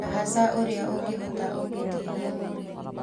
na hatha ũrĩa ũngĩhota ũngĩtihia mũrĩmi